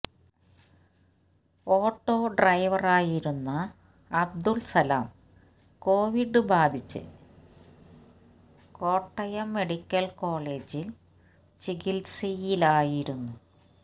auto ഡ്രൈവറായിരുന്ന Abdul Salam Covid ബാധിച്ച് Kottayam medical കോളേജിൽ ചികിത്സയിലായിരുന്നു